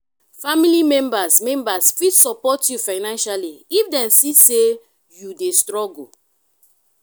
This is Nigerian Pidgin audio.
family members members fit support you financial if dem see say you de struggle